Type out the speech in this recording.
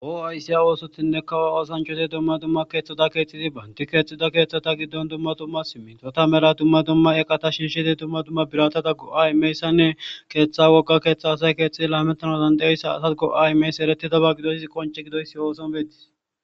Oo aysiya oosotinne kawa asanchoti dumma dumma keeththoda keeththizi baanti keexxida keeththata giddon dumma dumma simito tamera dumma dumma eqata shinshiti dumma dumma birata taggo ayimayssanne keeththa wogga keeththa asay keexxii lametana dandeyssa asad go aymays ereti daba gidoizi qonce gidoysi ooson beettis.